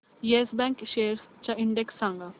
yes Bank shares चा index सांगा